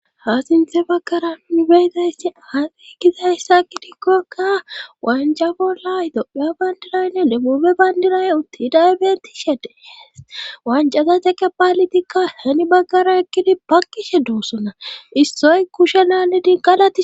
ha sinthe baggara nibeyzayssi hande kizayssakki dikkokka wanja bolla doa bayndiraynne lebube bayndinayn uttidaybetishedehees wancazateqe paalitikka heni baggara ekkidi bakkishe doossona issoy kushenanne dinqqalati.